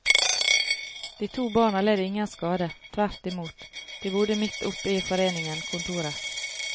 De to barna led ingen skade, tvert imot, de bodde midt oppe i foreningen kontorer.